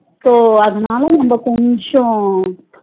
So அதனால நம்ம கொஞ்சம்